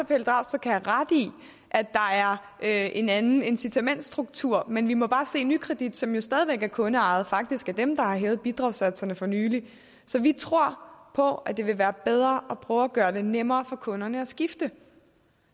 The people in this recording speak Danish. pelle dragsted kan have ret i at der er en anden incitamentsstruktur men vi må bare er nykredit som jo stadig væk er kundeejet som faktisk har hævet bidragssatserne for nylig så vi tror på at det vil være bedre at prøve at gøre det nemmere for kunderne at skifte